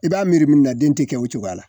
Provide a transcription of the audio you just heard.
I b'a miiri mun na den te kɛ o cogoya la